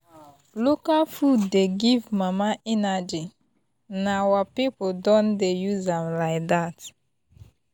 local food dey give mama energy na our people don dey use am like that.